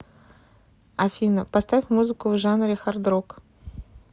афина поставь музыку в жанре хардрок